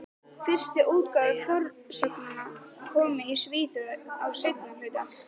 Fyrstu útgáfur fornsagnanna komu í Svíþjóð á seinna hluta